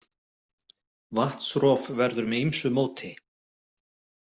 Vatnsrof verður með ýmsu móti.